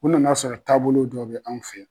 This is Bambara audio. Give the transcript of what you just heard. U nana'a sɔrɔ taabolo dɔ bɛ an fɛ ye.